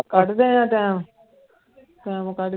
ਕੱਢਦੇ ਹਾਂ time, time ਕੱਢਦੇ